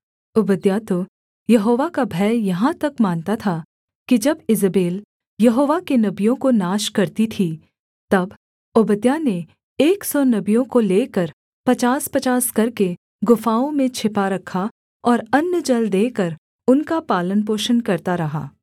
ओबद्याह तो यहोवा का भय यहाँ तक मानता था कि जब ईजेबेल यहोवा के नबियों को नाश करती थी तब ओबद्याह ने एक सौ नबियों को लेकर पचासपचास करके गुफाओं में छिपा रखा और अन्न जल देकर उनका पालनपोषण करता रहा